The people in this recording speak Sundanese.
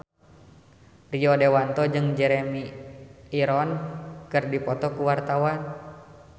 Rio Dewanto jeung Jeremy Irons keur dipoto ku wartawan